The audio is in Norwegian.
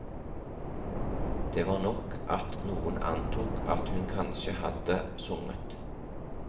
Det var nok at noen antok at hun kanskje hadde sunget.